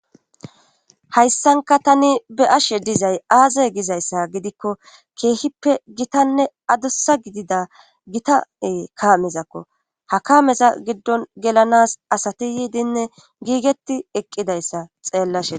hayssanka tani be ashe dizay aazey gizayssa gidikko keehippe gitanne adossa gidida gitae kaamezakko hakaameza giddon gelanas asati yiidinne giigetti eqqidayssa xeellashea